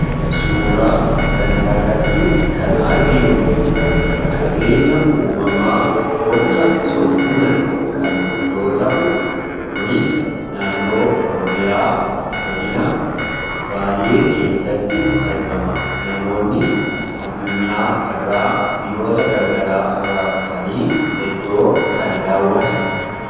Suuraa kanarratti kan arginu qabeenya uumamaa holqa soof-umar kana yoo ta'u, kunis naannoo Oromiyaa godina Baalee keessatti argama. Namoonnis addunyaa irraa biyyoota garaagaraa irraa dhufanii iddoo kana daawwatan.